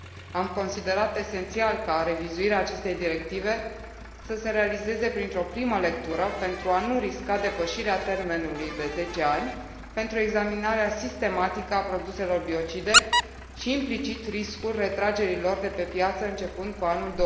Am considerat esențial ca revizuirea acestei directive să se realizeze printr o primă lectură, pentru a nu risca depășirea termenului de zece ani pentru examinarea sistematică a produselor biocide și, implicit, riscul retragerii lor de pe piață începând cu anul